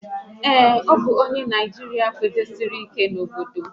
Ee, a bụ m onye Naijiria kwudosiri ike n'obodo m